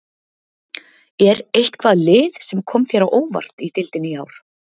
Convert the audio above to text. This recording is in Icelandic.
Er eitthvað lið sem kom þér á óvart í deildinni í ár?